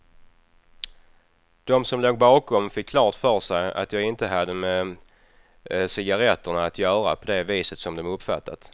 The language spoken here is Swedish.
De som låg bakom fick klart för sig att jag inte hade med cigaretterna att göra på det viset som de uppfattat.